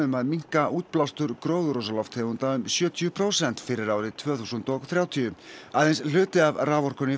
að minnka útblástur gróðurhúsaloftegunda um sjötíu prósent fyrir árið tvö þúsund og þrjátíu aðeins hluti af raforkunni